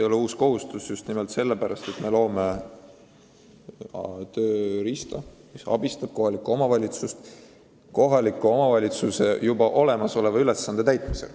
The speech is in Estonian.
Me just nimelt loome tööriista, mis aitab kohalikul omavalitsusel juba olemasolevat ülesannet täita.